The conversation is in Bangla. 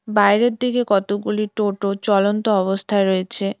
বাইরের দিকে কতগুলি টোটো চলন্ত অবস্থায় রয়েছে।